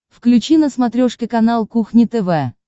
включи на смотрешке канал кухня тв